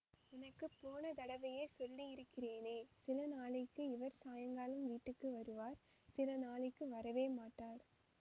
உனக்கு போன தடவையே சொல்லியிருக்கிறேனே சில நாளைக்கு இவர் சாயங்காலம் வீட்டுக்கு வருவார் சில நாளைக்கு வரவே மாட்டார்